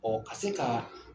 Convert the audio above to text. Ɔ ka se ka